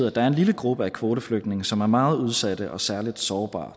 at der er en lille gruppe af kvoteflygtninge som er meget udsatte og særligt sårbare